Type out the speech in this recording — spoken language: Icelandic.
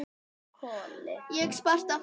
Ég spratt á fætur.